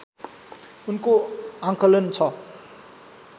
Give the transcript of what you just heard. उनको आँकलन छ